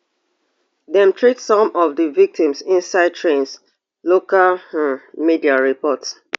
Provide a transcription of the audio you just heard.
dem treat some of di victims inside trains local um media report